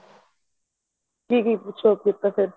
ਕਿ ਕੁੱਛ purchase ਕੀਤਾ ਫੇਰ